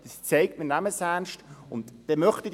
Es zeigt, dass wir es ernst nehmen.